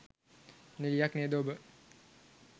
නිළියක් නේද ඔබ?